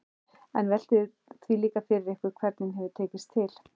En veltið því líka fyrir ykkur hvernig hefur tekist til?